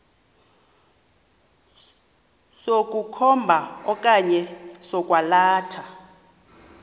sokukhomba okanye sokwalatha